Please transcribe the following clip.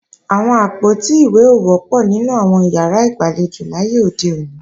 Àwọn àpótí ìwé ò wọ́pọ̀ ní àwọn ìyàrá ìgbàlejò láyé òde òní